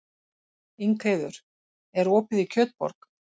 Ingheiður, er opið í Kjötborg?